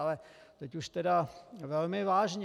Ale teď už tedy velmi vážně.